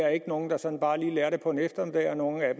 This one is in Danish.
er nogle der sådan bare lige lærer det på en eftermiddag og nogle af